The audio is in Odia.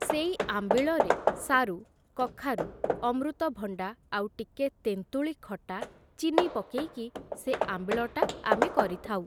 ସେଇ ଆମ୍ବିଳରେ ସାରୁ, କଖାରୁ, ଅମୃତଭଣ୍ଡା ଆଉ ଟିକେ ତେନ୍ତୁଳୀ ଖଟା ଚିନି ପକେଇକି, ସେ ଆମ୍ବିଳଟା ଆମେ କରିଥାଉ ।